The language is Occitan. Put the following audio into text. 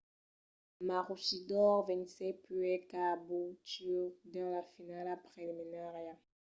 maroochydore vencèt puèi caboolture dins la finala preliminària